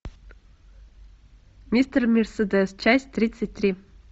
мистер мерседес часть тридцать три